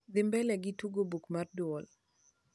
dhi mbele gi tugo buk mar duol